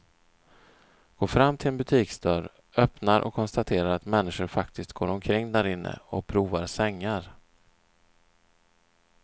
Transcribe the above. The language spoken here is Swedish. Går fram till en butiksdörr, öppnar och konstaterar att människor faktiskt går omkring därinne och provar sängar.